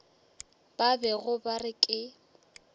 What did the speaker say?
ba bego ba re ke